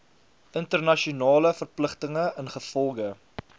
internasionale verpligtinge ingevolge